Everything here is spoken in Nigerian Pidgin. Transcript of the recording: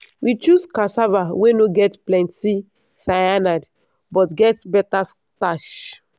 we choose cassava wey no get plenty cyanide but get better starch.